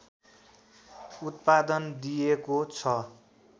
उत्पादन दिइएको छ